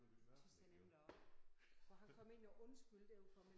Tys jeg nemlig også. For han kom ind og undskyldte overfor mig